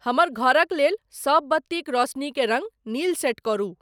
हमर घरक लेल सभ बत्तिक रौसनीकें रंग नील सेट करू।